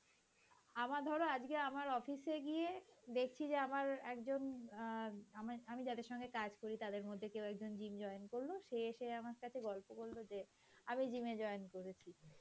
আমার ধর আজকে আমার অফিসে গিয়ে দেখছি যে আমার একজন অ্যাঁ আমি যাদের সঙ্গে কাজ করি তাদের মধ্যে কেউ একজন gym join করলো সে এসে আমার কাছে গল্প করলো যে আমি gym এ join করেছি